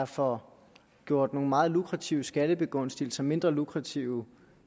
får gjort nogle meget lukrative skattebegunstigelser mindre lukrative